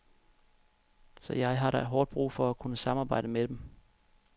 Så jeg har da hårdt brug for at kunne samarbejde med dem.